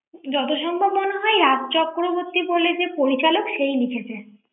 যত সম্ভব মনে হয় রাজ চক্রবর্তী বলে যে পরিচালক সেই লিখেছে ৷